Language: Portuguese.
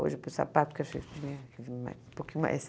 Hoje, para o sapato que eu chego, um pouquinho mais.